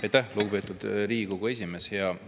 Aitäh, lugupeetud Riigikogu esimees!